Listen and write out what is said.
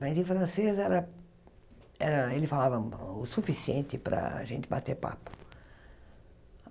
Mas, em francês, era ah ele falava o suficiente para a gente bater papo.